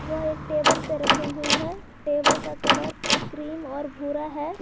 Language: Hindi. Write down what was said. वो एक टेबल पर रखी हुई है टेबल का कलर क्रीम और भूरा है।